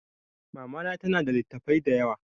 Mama na ta na da littafai da yawa